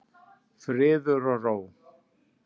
Friður og ró.